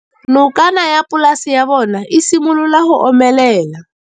Nokana ya polase ya bona, e simolola go omelela.